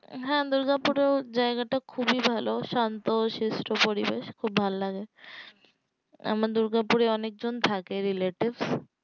হ্যাঁ দুর্গাপুর এর জায়গাটাও খুবই ভালো শান্ত সিস্ট পরিবেশ খুব ভালো লাগে আমার দুর্গাপুর এ অনেকজন থাকে relatives